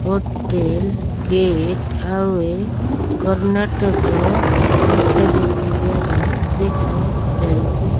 Hotel gateway Karnataka ଲେଖାଯାଇଥିବାର ଦେଖାଯାଉଛି।